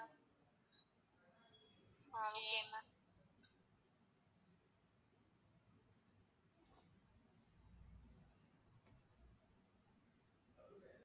ஆஹ் okay